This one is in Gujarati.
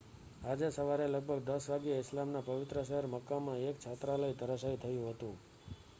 આજે સવારે લગભગ 10 વાગ્યે ઈસ્લામના પવિત્ર શહેર મક્કામાં એક છાત્રાલય ધરાશાયી થયું હતું